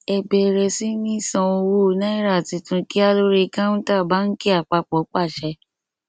ẹ bẹrẹ sí ní san owó náírà tuntun kíá lórí káunta báńkì àpapọ pàṣẹ